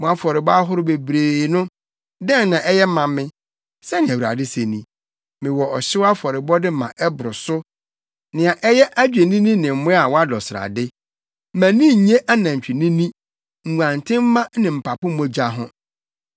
“Mo afɔrebɔ ahorow bebree no, dɛn na ɛyɛ ma me?” Sɛnea Awurade se ni. “Mewɔ ɔhyew afɔrebɔde ma ɛboro so, nea ɛyɛ adwennini ne mmoa a wɔadɔ srade; mʼani nnye anantwinini, nguantenmma ne mpapo mogya ho.